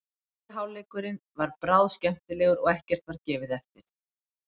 Fyrri hálfleikurinn var bráð skemmtilegur og ekkert var gefið eftir.